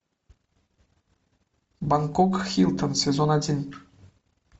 бангкок хилтон сезон один